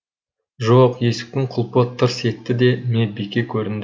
жоқ есіктің құлпы тырс етті де медбике көрінді